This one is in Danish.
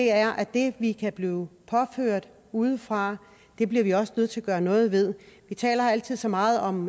er at det vi kan blive påført udefra bliver vi også nødt til at gøre noget ved vi taler altid så meget om